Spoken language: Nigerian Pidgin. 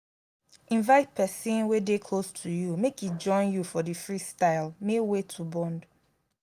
invite persin wey de close to you make e join you for di freestyle may wey to bond